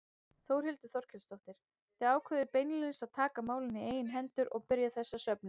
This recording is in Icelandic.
Þórhildur Þorkelsdóttir: Þið ákváðuð beinlínis að taka málin í eigin hendur og byrja þessa söfnun?